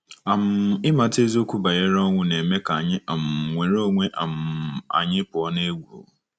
um Ịmata eziokwu banyere ọnwụ na-eme ka anyị um nwere onwe um anyị pụọ n’egwu.